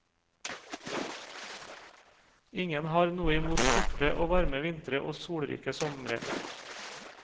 Ingen har noe imot korte og varme vintre og solrike sommere.